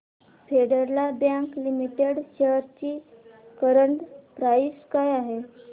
federal bank limited shares ची current price काय आहे